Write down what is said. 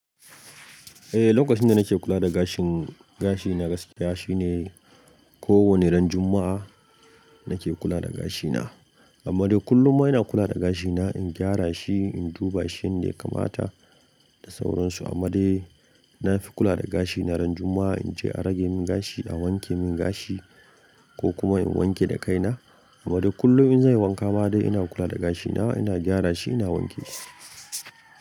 Eh, lokacin da nake kula da gashin- gashi na gaskiya shine kowane ran Juma'a nake kula da gashina. Amma dai kullum ina kula da gashina, in gyara shi, in duba shi dai kamata da sauransu. Amma dai na fi kula da gashi na ran Juma'a, in je a rage min gashi, a wanke min gashi ko kuma in wanke da kaina. Amma dai kullum in zan yi wanka ma dai ina kula da gashi na, ina gyara shi ina wanke shi.